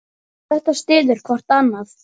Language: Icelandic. Þetta styður hvort annað.